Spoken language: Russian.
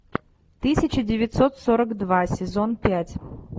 тысяча девятьсот сорок два сезон пять